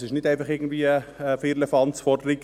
Es ist also nicht einfach eine Firlefanz-Forderung.